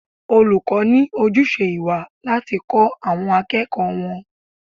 Olùkọ́ ní ojúṣe ìwà láti kọ́ àwọn akẹ́kọ̀ọ́ wọn.